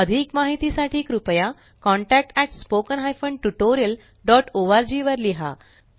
अधिक माहिती साठी कृपया contactspoken tutorialorg वर लिहा